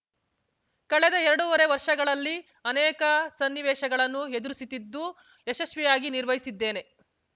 ಕಳೆದ ಎರಡೂವರೆ ವರ್ಷಗಳಲ್ಲಿ ಅನೇಕ ಸನ್ನಿವೇಶಗಳನ್ನು ಎದುರಿಸಿತಿದ್ದು ಯಶಸ್ವಿಯಾಗಿ ನಿರ್ವಹಿಸಿದ್ದೇನೆ